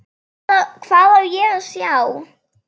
Hvað á ég að sjá?